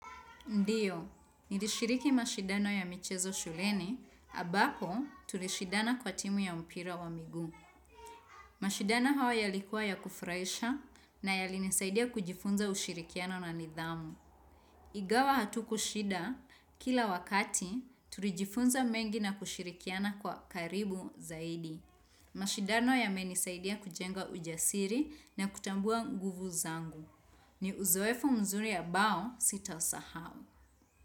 Ndiyo, nilishiriki mashidano ya michezo shuleni, ambako tulishidana kwa timu ya mpira wa miguu. Mashindano hayo yalikuwa ya kufurahisha na yalinisaidia kujifunza ushirikiano na nidhamu. Ingawa hatukushinda, kila wakati, tulijifunza mengi na kushirikiana kwa karibu zaidi. Mashindano yamenisaidia kujenga ujasiri na kutambua nguvu zangu. Ni uzoefu mzuri ambao sitasahau.